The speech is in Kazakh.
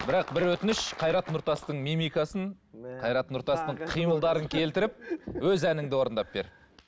бірақ бір өтініш қайрат нұртастың мимикасын қайрат нұртастың қимылдарын келтіріп өз әніңді орындап бер